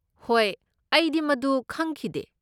ꯍꯣꯏ, ꯑꯩꯗꯤ ꯃꯗꯨ ꯈꯪꯈꯤꯗꯦ꯫